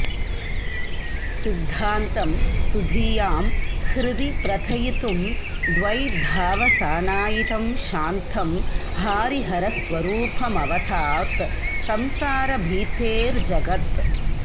सिद्धान्तं सुधियां हृदि प्रथयितुं द् वैधावसानायितं शान्तं हारिहरस्वरूपमवतात्संसारभीतेर्जगत्